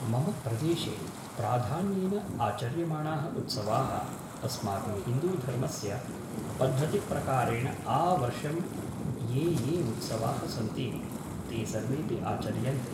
मम प्रदेशे प्राधान्येन आचर्यमाणाः उत्सवाः अस्माकं हिन्दूधर्मस्य पद्धतिप्रकारेण आवर्षं ये ये उत्सवाः सन्ति ते सर्वेपि आचर्यन्ते